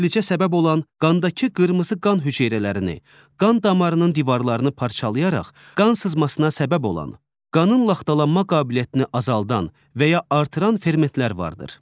İflicə səbəb olan qandakı qırmızı qan hüceyrələrini, qan damarının divarlarını parçalayaraq qan sızmasına səbəb olan, qanın laxtalanma qabiliyyətini azaldan və ya artıran fermentlər vardır.